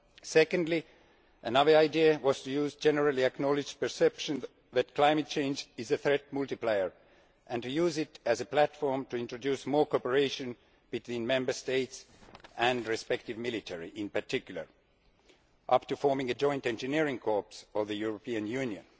Secondly, another idea was to use the generally acknowledged perception that climate change is a threat multiplier and to use it as a platform to introduce more cooperation between Member States and the respective military in particular, up to forming a joint engineering corps for the European Union.